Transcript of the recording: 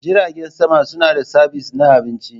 Jiragen sama suna da sabis na abinci.